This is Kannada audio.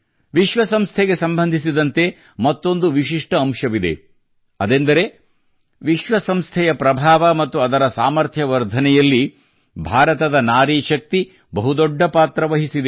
ವಿಶ್ವ ಸಂಸ್ಥೆಗೆ ಸಂಬಂಧಿಸಿದಂತೆ ಮತ್ತೊಂದು ವಿಶಿಷ್ಠ ಅಂಶವಿದೆ ಅದೆಂದರೆ ವಿಶ್ವ ಸಂಸ್ಥೆಯ ಪ್ರಭಾವ ಮತ್ತು ಅದರ ಸಾಮರ್ಥ್ಯ ವರ್ಧನೆಯಲ್ಲಿ ಭಾರತದ ನಾರೀಶಕ್ತಿಯು ಬಹು ದೊಡ್ಡ ಪಾತ್ರ ವಹಿಸಿದೆ